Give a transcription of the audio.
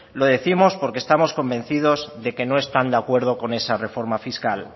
lo décimos porque estamos convencidos de que no están de acuerdo con esa reforma fiscal